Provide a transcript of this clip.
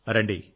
రండి